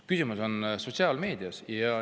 Küsimus on sotsiaalmeedias.